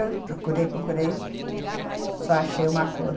Eu procurei, procurei, só achei uma cor.